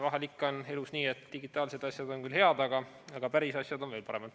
Vahel ikka on elus nii, et digitaalsed asjad on küll head, aga päris asjad on veel paremad.